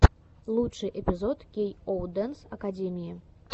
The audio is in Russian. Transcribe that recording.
лучший эпизод кей оу дэнс акэдими